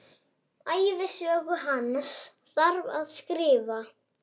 Ævisögu hans þarf að skrifa.